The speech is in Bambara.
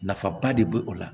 Nafaba de be o la